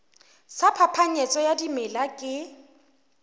sa phapanyetso ya dimela ke